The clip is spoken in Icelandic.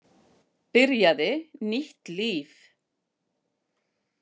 Byrjaði nýtt líf.